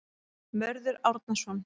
Mörður Árnason.